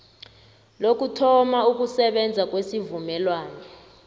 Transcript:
lokuthoma ukusebenza kwesivumelwano